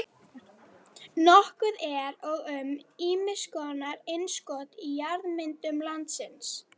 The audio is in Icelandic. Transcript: Nokkuð er og um ýmiss konar innskot í jarðmyndunum landsins.